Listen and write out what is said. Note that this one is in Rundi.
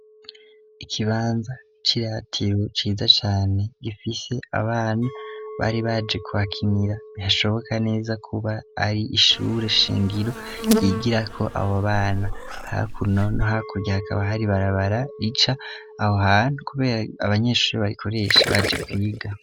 Ikibanza c'iratiro ciza cane gifise abana bari baje kuhakinira bihashoboka neza kuba ari ishure shingiro ryigira ko abo bana hakurya no hakuno hakaba hari ibarabara rica aho hano kubera abanyeshuri barikoreshe baje kwiga.